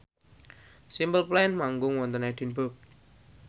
Simple Plan manggung wonten Edinburgh